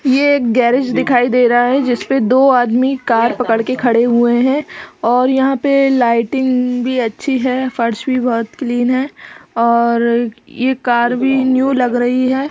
ये एक गैरेज दिखाई दे रहा है जिसपे दो आदमी कार पकड़ के खड़े हुए हैं और यहाँं पे लाइटिंग भी अच्छी है फर्श भी बहुत क्लीन है और ये कार भी न्यू लग रही है।